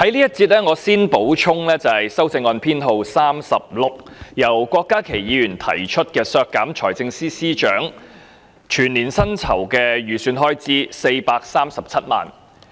該項修正案由郭家麒議員提出，議決削減財政司司長437萬元的全年薪酬預算開支。